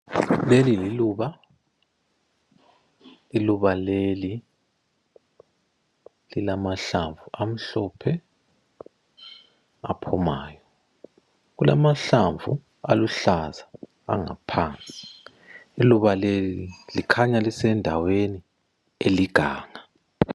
Leli liluba, iluba leli lilamahlamvu amhlophe aphumayo. Kulamahlamvu aluhlaza angaphansi. Iluba leli likhanya lisendaweni eliganga.